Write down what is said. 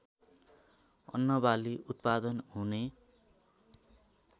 अन्नबाली उत्पादन हुने